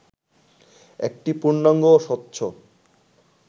একটি পূর্ণাঙ্গ ও স্বচ্ছ